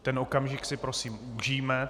Ten okamžik si prosím užijme.